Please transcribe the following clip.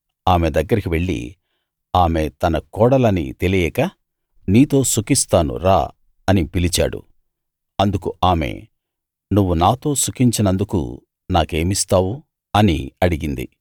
ఆమె దగ్గరికి వెళ్ళి ఆమె తన కోడలని తెలియక నీతో సుఖిస్తాను రా అని పిలిచాడు అందుకు ఆమె నువ్వు నాతో సుఖించినందుకు నాకేమిస్తావు అని అడిగింది